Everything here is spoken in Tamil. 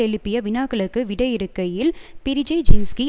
எழுப்பிய வினாக்களுக்கு விடையிறுக்கையில் பிரிஜேஜின்ஸ்கி